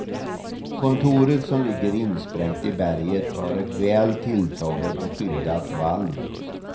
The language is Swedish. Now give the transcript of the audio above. Kontoret som ligger insprängt i berget har ett väl tilltaget och skyddat valv.